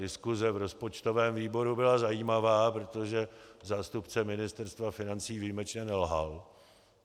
Diskuse v rozpočtovém výboru byla zajímavá, protože zástupce Ministerstva financí výjimečně nelhal.